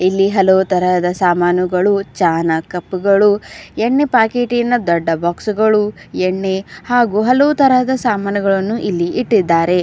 ಇಲ್ಲಿ ಹಲವು ತರಹದ ಸಾಮಾನುಗಳು ಚಹನಾ ಕಪ್ ಗಳು ಎಣ್ಣೆ ಪ್ಯಾಕೇಟ್ಟಿ ನ ದೊಡ್ಡ ಬಾಕ್ಸ್ಗ ಳು ಎಣ್ಣೆ ಹಾಗೂ ಹಲವು ತರಹದ ಸಾಮಾನುಗಳನ್ನು ಇಲ್ಲಿ ಇಟ್ಟಿದ್ದಾರೆ.